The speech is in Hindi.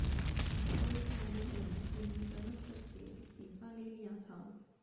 अखिलेश यादव ने उन्हें तलब करके इस्तीफा ले लिया था